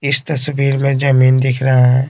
इस तस्वीर में जमीन दिख रहा है।